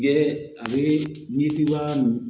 Yɛrɛ a bɛ n'i b'a min